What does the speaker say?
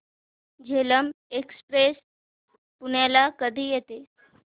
Jhelum express पुण्याला कधी येते